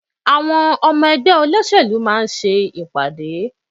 Àwọn ọmọ ẹgbẹ́ olóṣèlú máa ń ṣe ìpàdé.